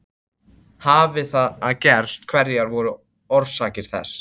Hafi það gerst hverjar voru orsakir þess?